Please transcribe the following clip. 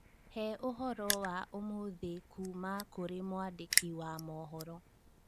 he ũhoro wa ũmũthĩ kuuma kũrĩ mwandĩki wa mohoro